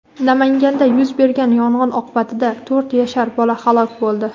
Namanganda yuz bergan yong‘in oqibatida to‘rt yashar bola halok bo‘ldi.